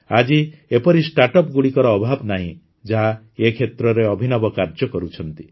ଆଜି ଏପରି ଷ୍ଟାର୍ଟଅପ୍ସଗୁଡ଼ିକର ଅଭାବ ନାହିଁ ଯାହା ଏ କ୍ଷେତ୍ରରେ ଅଭିନବ କାର୍ଯ୍ୟ କରୁଛନ୍ତି